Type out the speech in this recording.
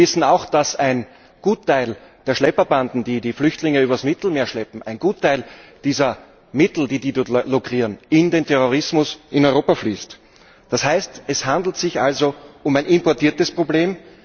Wir wissen auch, dass ein Gutteil der Schlepperbanden, die die Flüchtlinge übers Mittelmeer schleppen, einen Gutteil dieser Mittel, die sie dort lukrieren, in den Terrorismus in Europa fließen lassen. Das heißt, es handelt sich also um ein importiertes Problem.